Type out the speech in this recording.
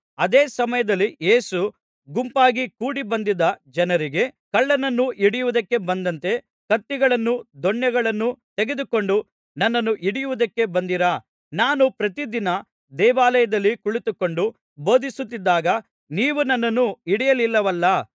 ಅದೇ ಸಮಯದಲ್ಲಿ ಯೇಸು ಗುಂಪಾಗಿ ಕೂಡಿಬಂದಿದ್ದ ಜನರಿಗೆ ಕಳ್ಳನನ್ನು ಹಿಡಿಯುವುದಕ್ಕೆ ಬಂದಂತೆ ಕತ್ತಿಗಳನ್ನು ದೊಣ್ಣೆಗಳನ್ನು ತೆಗೆದುಕೊಂಡು ನನ್ನನ್ನು ಹಿಡಿಯುವುದಕ್ಕೆ ಬಂದಿರಾ ನಾನು ಪ್ರತಿದಿನ ದೇವಾಲಯದಲ್ಲಿ ಕುಳಿತುಕೊಂಡು ಬೋಧಿಸುತ್ತಿದ್ದಾಗ ನೀವು ನನ್ನನ್ನು ಹಿಡಿಯಲಿಲ್ಲವಲ್ಲಾ